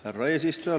Härra eesistuja!